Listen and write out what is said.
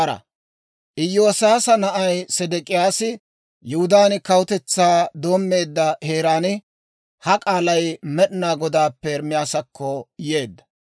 Iyoosiyaasa na'ay Sedek'iyaasi, Yihudaan kawutetsaa doommeedda heeraan, ha k'aalay Med'inaa Godaappe Ermaasakko yeedda.